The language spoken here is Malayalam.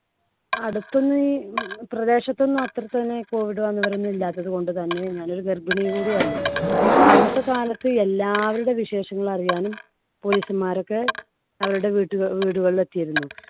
അടുത്തൊന്ന് പ്രദേശത്തൊന്നും അത്ര തന്നെ ഈ COVID വന്നവരൊന്നും ഇല്ലാത്തതുകൊണ്ട് തന്നെ ഞാന്‍ ഒരു ഗർഭിണി കൂടി അല്ലേ, പിന്നെ അന്നത്തെ കാലത്ത് എല്ലാവരുടെ വിശേഷങ്ങൾ അറിയാനും police മാരൊക്കെ അവരുടെ വീട്ടു വീടുകളിൽ എത്തിയിരുന്നു.